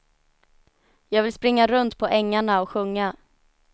Jag vill springa runt på ängarna och sjunga.